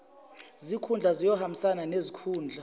zikhundla ziyohambisana nezikhundla